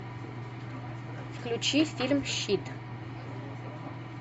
включи фильм щит